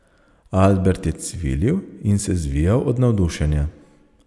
Albert je cvilil in se zvijal od navdušenja.